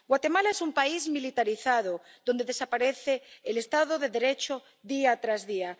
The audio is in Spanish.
Guatemala es un país militarizado donde desaparece el Estado de Derecho día tras día.